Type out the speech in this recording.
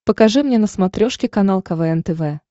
покажи мне на смотрешке канал квн тв